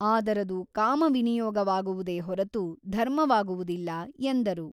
ಆದರದು ಕಾಮ ವಿನಿಯೋಗವಾಗುವುದೇ ಹೊರತು ಧರ್ಮವಾಗುವುದಿಲ್ಲ ಎಂದರು.